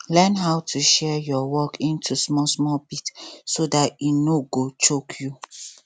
learn how to share your work into small small bit so dat e no go choke you